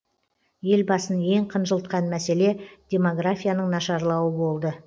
елбасын ең қынжылтқан мәселе демографияның нашарлауы болды